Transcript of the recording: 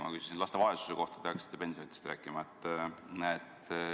Ma küsisin laste vaesuse kohta, teie hakkasite pensionidest rääkima.